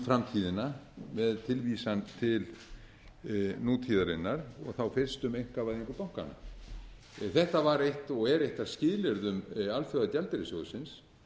framtíðina með tilvísun til nútíðarinnar og þá fyrst um einkavæðingu bankanna þetta var og er eitt af skilyrðum alþjóðagjaldeyrissjóðsins